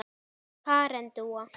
Karen Dúa.